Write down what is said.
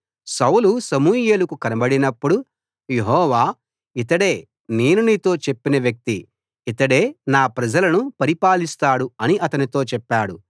సౌలు సమూయేలుకు కనబడినప్పుడు యెహోవా ఇతడే నేను నీతో చెప్పిన వ్యక్తి ఇతడే నా ప్రజలను పరిపాలిస్తాడు అని అతనితో చెప్పాడు